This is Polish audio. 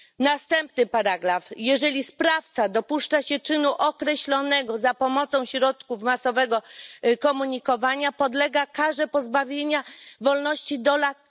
Następny paragraf Jeżeli sprawca dopuszcza się czynu określonego za pomocą środków masowego komunikowania, podlega karze pozbawienia wolności do lat